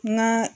Na